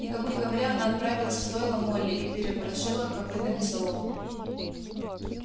никому не говоря она отправилась в стойло молли и переворошила копытами солому